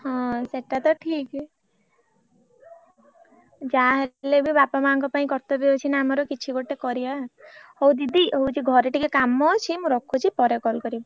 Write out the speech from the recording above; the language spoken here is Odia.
ହଁ ସେଟା ତ ଠିକ ଯାହା ହେଲେବି ବାପା ମାଆଙ୍କ ପାଇଁ କର୍ତବ୍ୟ ଅଛି ନା ଆମର କିଛି ଗୋଟେ କରିଆ ହଉ ଦିଦି ହଉଛି ଘରେ ଟିକେ କାମ ଅଛି ମୁ ରଖୁଛି ପରେ call କରିବି।